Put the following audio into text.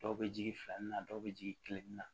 Dɔw bɛ jigin filanin na dɔw bɛ jigin kelen na